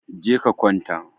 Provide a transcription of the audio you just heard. Je ka kwanta